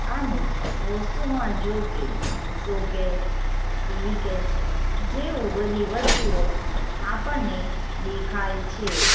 અને વસ્તુમાં જોકે શોકેસ ટીવી કેસ જેવું બધી વસ્તુઓ આપણને દેખાય છે.